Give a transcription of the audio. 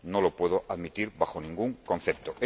No lo puedo admitir bajo ningún concepto.